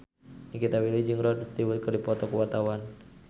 Nikita Willy jeung Rod Stewart keur dipoto ku wartawan